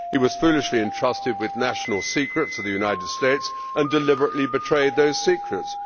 He was foolishly entrusted with national secrets of the United States and deliberately betrayed those secrets.